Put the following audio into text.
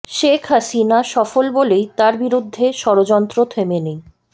শেখ হাসিনা সফল বলেই তার বিরুদ্ধে ষড়যন্ত্র থেমে নেই